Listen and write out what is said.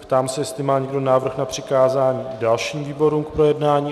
Ptám se, jestli má někdo návrh na přikázání dalším výborům k projednání.